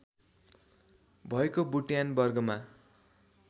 भएको बुट्यान वर्गमा